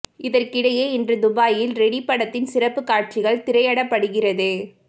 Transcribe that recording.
இதற்கிடையே இன்று துபாயில் ரெடி படத்தின் சிறப்புக் காட்சிகள் திரையடப்படுகிறது